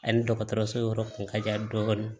Ani dɔgɔtɔrɔso yɔrɔ kun ka jan dɔɔni